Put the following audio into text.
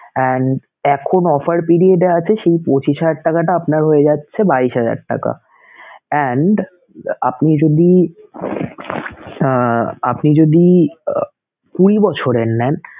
and এখন offer period এ আছে সেই পঁচিশ হাজার টাকাটা আপনার হয়ে যাচ্ছে বাইশ হাজার টাকা and আপনি যদি আহ আপনি যদি কুঁড়ি বছরের নেন